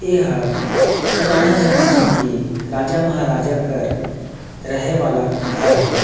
एहर पुराना जमाना के राजा महाराजा कर रहे वाला घर हवे--